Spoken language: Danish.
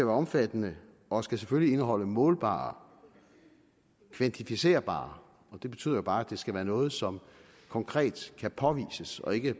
omfattende og skal selvfølgelig indeholde målbare kvantificerbare det betyder bare at det skal være noget som konkret kan påvises og ikke